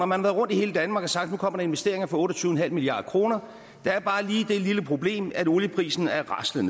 man været rundt i hele danmark og sagt nu kommer investeringer for otte og tyve milliard kroner der er bare lige det lille problem at olieprisen er raslet